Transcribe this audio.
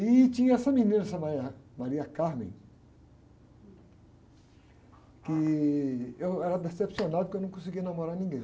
E tinha essa menina, essa, que eu era decepcionado porque eu não conseguia namorar ninguém.